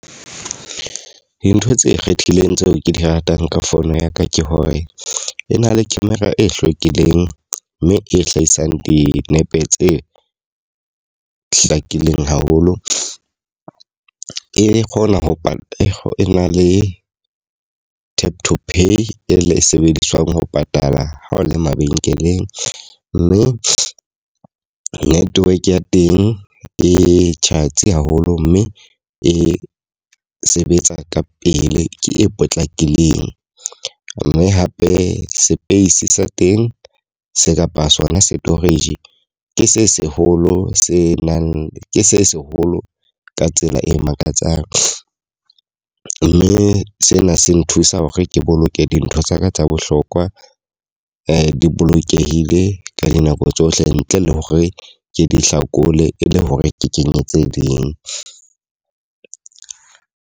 Dintho tse ikgethileng tseo ke di ratang ka phone ya ka, ke hore e na le camera e hlwekileng mme e hlahisang dinepe tse hlakileng haholo. E kgona ho e na ho e na le tap to pay e sebediswang ho patala ha o le mabenkeleng. Mme network ya teng e tjhatsi haholo mme e sebetsa ka pele ke e potlakileng. Mme hape space sa teng se kapa sona storage. Ke se seholo se nang ke se seholo ka tsela e makatsang. Mme sena se nthusa hore ke boloke dintho tsaka tsa bohlokwa di bolokehile ka dinako tsohle ntle le hore ke di hlakole e le hore ke kenye tse ding.